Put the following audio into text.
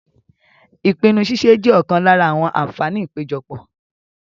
Ìpinnu ṣíṣe jẹ́ ọ̀kan lára àwọn àǹfààní ìpéjọpọ̀.